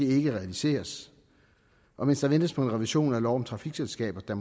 ikke realiseres og mens der ventes på en revision af lov om trafikselskaber der